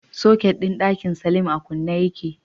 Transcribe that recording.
Soket din dakin salim a kunne yake